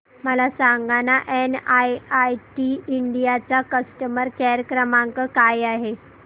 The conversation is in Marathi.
मला सांगाना एनआयआयटी इंडिया चा कस्टमर केअर क्रमांक काय आहे